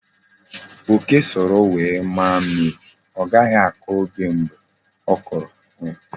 Oke soro ngwere maa mmiri, o ghahi ako oke mgbe o koro ngwere.